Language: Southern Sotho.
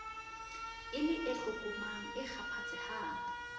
e le e tlokomang ekgaphatsehang